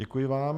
Děkuji vám.